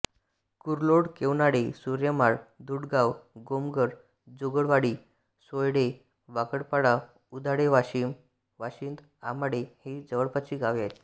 कुरलोड केवनाळे सुर्यमाळ धुडगाव गोमघर जोगळवाडी सायडे वाकडपाडा उधाळे वाशिंद आमाळे ही जवळपासची गावे आहेत